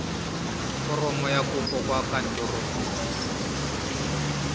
foromo ya kopo kwa kantorong